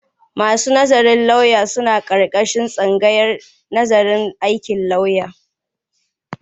Masu nazarin lauya sun aƙarƙashin tsangayar nazarin aikin lauya.